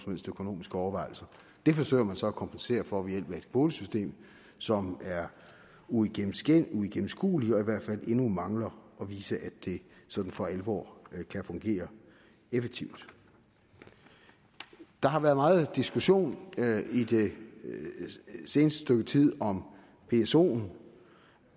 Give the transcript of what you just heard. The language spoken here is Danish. helst økonomiske overvejelser det forsøger man så at kompensere for ved hjælp af et kvotesystem som er uigennemskueligt uigennemskueligt og i hvert fald endnu mangler at vise at det sådan for alvor kan fungere effektivt der har været meget diskussion det seneste stykke tid om psoen